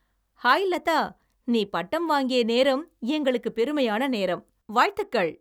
High Latha, நீ பட்டம் வாங்கிய நேரம் எங்களுக்குப் பெருமையான நேரம், வாழ்த்துக்கள்.